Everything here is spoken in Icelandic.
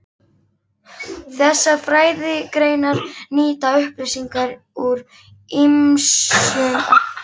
Þessar fræðigreinar nýta upplýsingar úr ýmsum áttum.